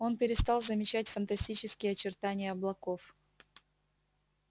он перестал замечать фантастические очертания облаков